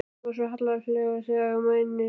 Þú ert svo hallærislegur þegar þú mænir á Gerði.